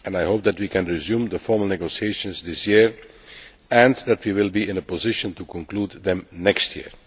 I hope that we can resume the formal negotiations this year and that we will be in a position to conclude them next year.